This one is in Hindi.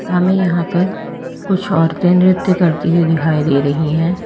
हमें यहां पर कुछ औरते नृत्य करती हुई दिखाई दे रही हैं।